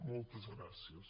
moltes gràcies